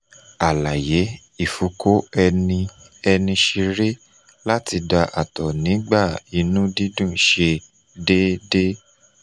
alaye: ifoko eni eni sere lati da ato nigba inu dundun se deede